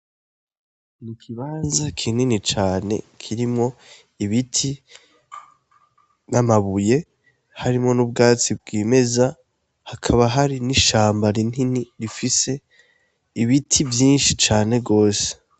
Ikibanza kinini cane kirimwo ibiti n'amabuye harimwo n'ubwatsi bwimeza hakaba hari n'ishamba rinini rifise ibiti vyinshi cane gose.